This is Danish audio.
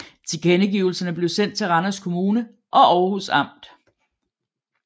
Tilkendegivelserne blev sendt til Randers Kommune og Århus Amt